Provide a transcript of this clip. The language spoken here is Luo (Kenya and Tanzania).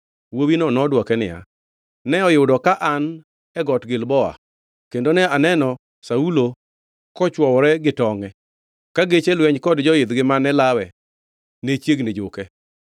Wuowino nodwoke niya, “Ne oyudo ka an e got Gilboa kendo ne aneno Saulo kochwowore gi tongʼe, ka geche lweny kod joidhgi mane lawe ne chiegni juke.”